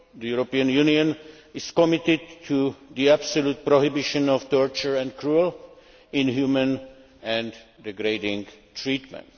The European Union is committed to the absolute prohibition of torture and of cruel, inhumane and degrading treatment.